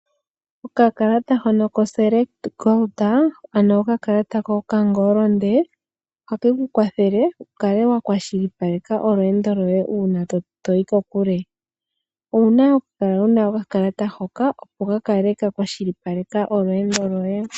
Okakalata hono koselect gold ano okakalata kokangolonde ohake ku kwathele wu kale wa kwashilipaleka olweendo lwoye uuna to yi kokule wukale wa kwashilipaleka olweendo lwoye.